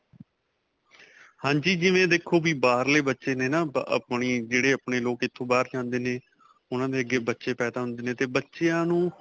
ਹਾਂਜੀ. ਜਿਵੇਂ ਦੇਖੋ ਵੀ ਬਾਹਰਲੇ ਬੱਚੇ ਨੇ ਨਾ ਅਅ ਆਪਣੀ ਜਿਹੜੀ, ਆਪਣੇ ਲੋਕ ਇੱਥੋਂ ਬਾਹਰ ਜਾਂਦੇ ਨੇ ਉਨ੍ਹਾਂ ਦੇ ਅੱਗੇ ਬੱਚੇ ਪੈਦਾ ਹੁੰਦੇ ਨੇ 'ਤੇ ਬੱਚਿਆਂ ਨੂੰ.